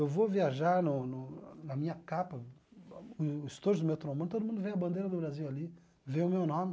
Eu vou viajar no no na minha capa, o estojo do meu trombone, todo mundo vê a bandeira do Brasil ali, vê o meu nome.